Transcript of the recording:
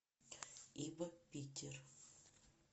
и в питер